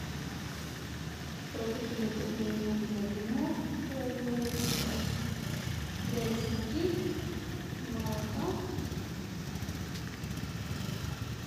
продукты необходимые нам для блинов купить яйца муки молока